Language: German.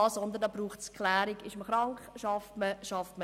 Es braucht dazu Klärung, ob man krank ist und nicht arbeiten kann.